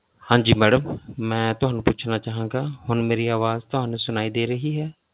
ਹਾਂਜੀ madam ਮੈਂ ਤੁਹਾਨੂੰ ਪੁੱਛਣਾ ਚਾਹਾਂਗਾ ਹੁਣ ਮੇਰੀ ਆਵਾਜ਼ ਤੁਹਾਨੂੰ ਸੁਣਾਈ ਦੇ ਰਹੀ ਹੈ।